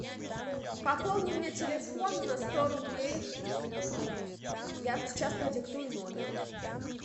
пополни мне телефон на сто рублей я сейчас продиктую номер